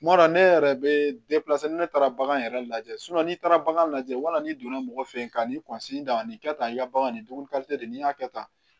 Kuma dɔ la ne yɛrɛ bɛ ni ne taara bagan yɛrɛ lajɛ n'i taara bagan lajɛ wala n'i donna mɔgɔ fɛ ka nin da nin kɛ tan i ka bagan nin dumuni de n'i y'a kɛ tan